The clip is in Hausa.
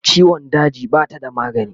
ciwon daji Bata da magani